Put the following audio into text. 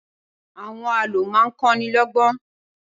Awòn àlõ má n kòní lògbòn